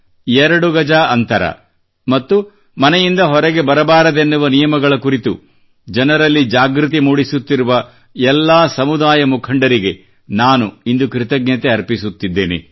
ಎರಡು ಗಜ ಅಂತರ ಮತ್ತು ಮನೆಯಿಂದ ಹೊರಗೆ ಬರಬಾರದೆನ್ನುವ ನಿಯಮಗಳ ಕುರಿತು ಜನರಲ್ಲಿ ಜಾಗೃತಿ ಮೂಡಿಸುತ್ತಿರುವ ಎಲ್ಲಾ ಸಮುದಾಯ ಮುಖಂಡರಿಗೆ ಕಮ್ಯೂನಿಟಿ ಲೀಡರ್ಸ್ ನಾನು ಇಂದು ಕೃತಜ್ಞತೆ ಅರ್ಪಿಸುತ್ತಿದ್ದೇನೆ